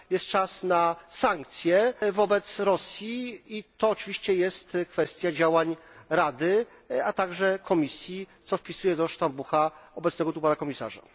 Jest czas na sankcje wobec Rosji i to oczywiście jest kwestia działań Rady, a także Komisji, co wpisuję do sztambucha obecnego tu pana komisarza.